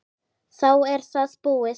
Þá er það búið.